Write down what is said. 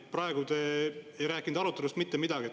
Praegu te ei rääkinud arutelust mitte midagi.